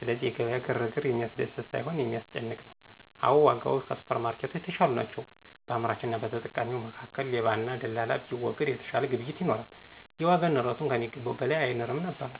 ስለዚህ የገበያ ግርግር የሚያስደስት ሳይሆን የሚያስጨንቅ ነው። አዎ ዋጋዎች ከሱፐርማርኬቶች የተሻሉ ናቸው። በአምራችና በተጠቃሚው መካከል ሌባና ደላላ ቢወገድ የተሻለ ግብይት ይኖራል፤ የዋጋ ንረቱም ከሚገባው በላይ አይንርም ነበር።